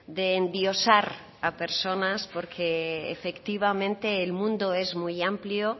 de endiosar a personas porque efectivamente el mundo es muy amplio